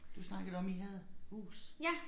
Du snakkede om I havde hus